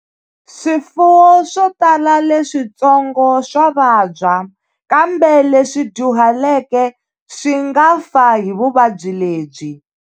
Swifuwo swo tala leswitsongo swa vabya, kambe leswi dyuhaleke swi nga fa hi vuvabyi lebyi.